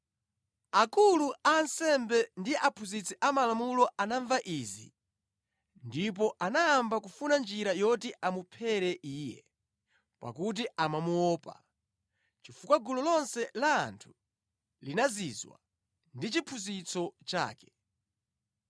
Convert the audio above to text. Akulu a ansembe ndi aphunzitsi amalamulo anamva izi ndipo anayamba kufuna njira yoti amuphere Iye, pakuti amamuopa, chifukwa gulu lonse la anthu linazizwa ndi chiphunzitso chake.